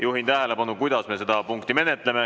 Juhin tähelepanu sellele, kuidas me seda punkti menetleme.